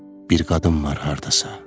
Bir qadın var hardasa.